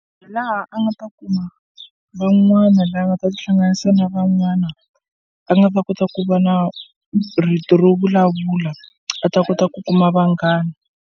Hi laha a nga ta kuma van'wana lava nga ta tihlanganisa na van'wana a nga ta kota ku va na rito ro vulavula a ta kota ku kuma vanghana.